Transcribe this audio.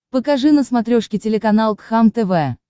покажи на смотрешке телеканал кхлм тв